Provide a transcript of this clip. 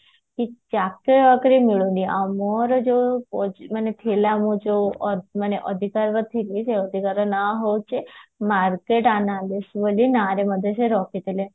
ଚାକିରି ବାକିରି ମିଲୁନି ଆଉ ମୋର ଯୋଉ ମାନେ ଥିଲା ମୋର ଯୋଉ ମାନେ ଅଧିକା ଅଧିକା ନା ହଉଛ market analysis ନା ରେ ମଧ୍ୟ ସେ ରଖିଥିଲେ